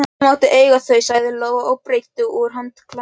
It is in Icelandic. Auðvitað máttu eiga þau, sagði Lóa og breiddi úr handklæðinu á gólfið.